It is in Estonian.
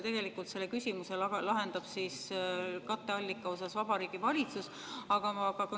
Tegelikult selle katteallika küsimuse lahendab Vabariigi Valitsus.